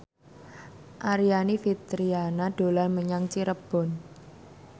Aryani Fitriana dolan menyang Cirebon